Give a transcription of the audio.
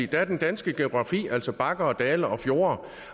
der er den danske geografi altså bakker og dale og fjorde